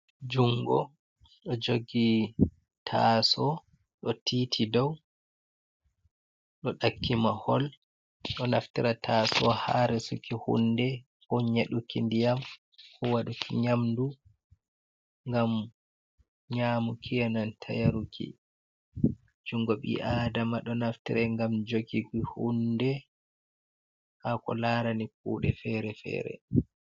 Jungo do jogi taso do titi dow do takkimahol, do naftira taso haresuki hunde ko nyaduki ndiyam kowaduki nyamdu gam nyamukiyanan tayaruki jungo bi adama do naftirai gam jogii hunde ha ko larani kude fere-fere.